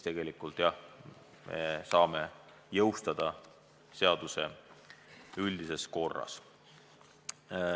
Tegelikult, jah, me saame jõustada seaduse üldises korras.